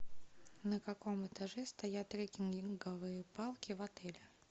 на каком этаже стоят трекинговые палки в отеле